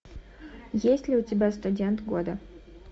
есть ли у тебя студент года